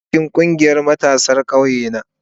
Ina cikin ƙungiyar matasa a ƙauye na.